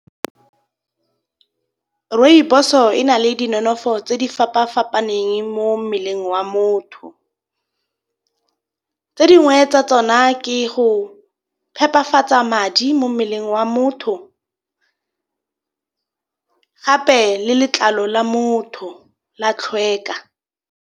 Rooibos-o e na le di nonofo tse di fapafapaneng mo mmeleng wa motho. Tse dingwe tsa tsona ke go phepafatsa madi mo mmeleng wa motho gape le letlalo la motho la tlhokega.